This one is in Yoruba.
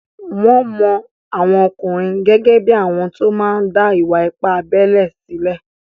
Wọ́n mọ àwọn ọkùnrin gẹ́gẹ́ bí àwọn tó máa n dá ìwà-ipá abélé sílẹ̀